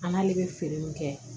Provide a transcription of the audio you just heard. A n'ale bɛ feere min kɛ